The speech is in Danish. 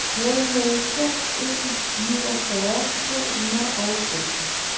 nul nul fem en niogfyrre to hundrede og femten